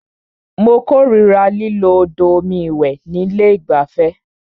Mó kòrira lílo odò omi ìwẹ̀ ní ilé ìgbafẹ́.